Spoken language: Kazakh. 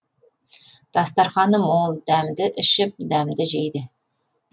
дастарқаны мол дәмді ішіп дәмді жейді